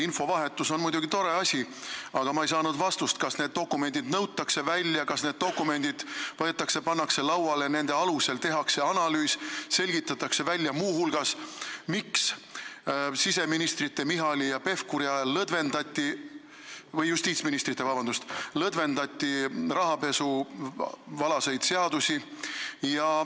Infovahetus on muidugi tore asi, aga ma ei saanud vastust, kas need dokumendid nõutakse välja, kas need dokumendid pannakse lauale ja nende alusel tehakse analüüs ja selgitatakse muu hulgas välja, miks justiitsministrite Michali ja Pevkuri ajal lõdvendati rahapesualaseid seadusi.